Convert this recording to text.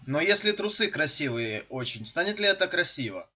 но если трусы красивые очень станет ли это красиво